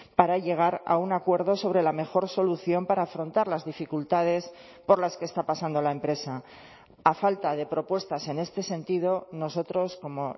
para llegar a un acuerdo sobre la mejor solución para afrontar las dificultades por las que está pasando la empresa a falta de propuestas en este sentido nosotros como